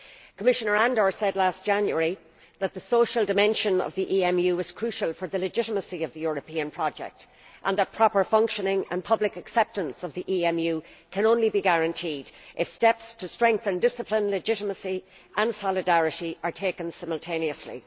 Commissioner Andor said last January that the social dimension of the EMU was crucial for the legitimacy of the European project, and that the proper functioning and public acceptance of the EMU could only be guaranteed if steps to strengthen discipline, legitimacy and solidarity were taken simultaneously.